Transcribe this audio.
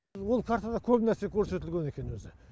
бұл картада көп нәрсе көрсетілген екен өзі